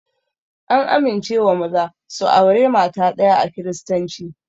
An amincewa maza su aure mata ɗaya a kiristanci